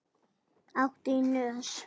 Áttu í nös?